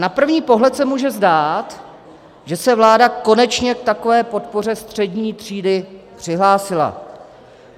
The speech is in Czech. Na první pohled se může zdát, že se vláda konečně k takové podpoře střední třídy přihlásila.